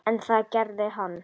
En það gerði hann.